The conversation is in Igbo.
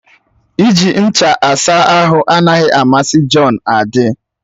Iji ncha asa ahụ anaghị amasị Jọn. adị